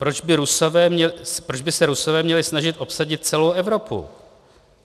Proč by se Rusové měli snažit obsadit celou Evropu?